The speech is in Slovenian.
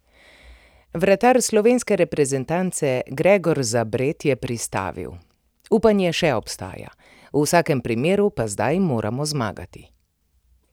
Vratar slovenske reprezentance Gregor Zabret je pristavil: "Upanje še obstaja, v vsakem primeru pa zdaj moramo zmagati.